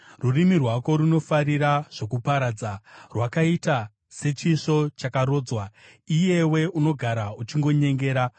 Rurimi rwako runofarira zvokuparadza; rwakaita sechisvo chakarodzwa, iyewe unogara uchingonyengera.